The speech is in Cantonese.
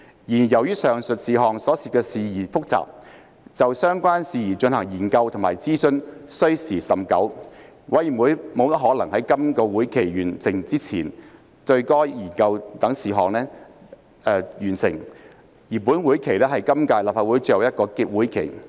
然而，由於上述事項所涉事宜複雜，就相關事宜進行研究及諮詢需時甚久，委員會不大可能在本會期內完成研究該等事項，而本會期是今屆立法會最後一個會期。